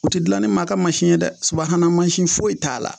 U ti gilan ni maa ka masi ye dɛ mansin foyi t'a la